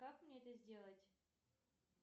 как мне это сделать